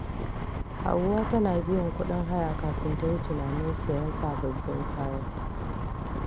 Hauwa tana biyan kuɗin haya kafin ta yi tunanin siyan sabbin kaya.